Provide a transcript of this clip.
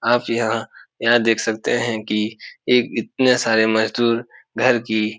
आप यहाँ यह देख सकते हैं की एक इतने सारे मज़दूर घर की --